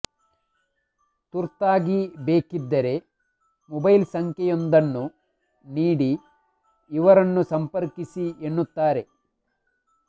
ತುರ್ತಾಗಿ ಬೇಕಿದ್ದರೆ ಮೊಬೈಲ್ ಸಂಖ್ಯೆಯೊಂದನ್ನು ನೀಡಿ ಇವರನ್ನು ಸಂಪರ್ಕಿಸಿ ಎನ್ನುತ್ತಾರೆ